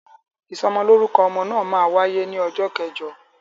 Ìsọmọlórúkọ ọmọ náà máa wáyé ní ọjọ́ kẹjọ